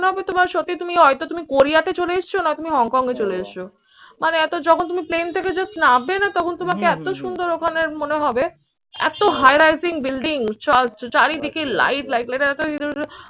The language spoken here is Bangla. মনে হবে তোমার সত্যি তুমি হয়তো তুমি কোরিয়াতে চলে এসছো না তুমি হংকং এ চলে এসছো। মানে এত যখন তুমি plain থেকে just নামবে না তখন তোমাকে এত সুন্দর ওখানে মনে হবে এত high rising building চার চারিদিকে light